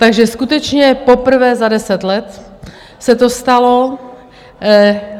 Takže skutečně poprvé za deset let se to stalo.